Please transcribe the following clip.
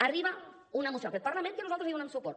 arriba una moció a aquest parlament a la qual nosaltres donem suport